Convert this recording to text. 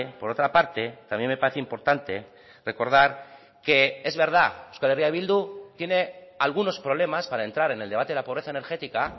por otra parte también me parece importante recordar que es verdad euskal herria bildu tiene algunos problemas para entrar en el debate de la pobreza energética